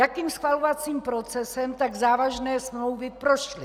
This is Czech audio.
Jakým schvalovacím procesem tak závažné smlouvy prošly?